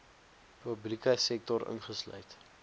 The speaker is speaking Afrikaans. publieke sektor ingesluit